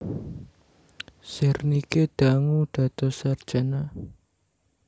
Zernike dangu dados sarjana